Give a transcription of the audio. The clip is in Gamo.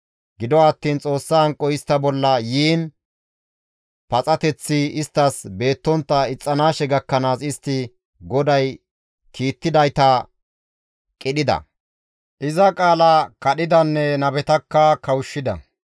Gido attiin Xoossa hanqoy istta bolla yiin paxateththi isttas beettontta ixxanaashe gakkanaas istti GODAY kiittidayta qidhida; iza qaala kadhidanne nabetakka kawushshida.